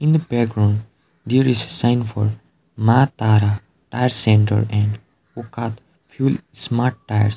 in the background there is a sign for maa tara tyre centre and fuel smart tyres.